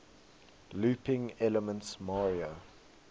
looping elements mario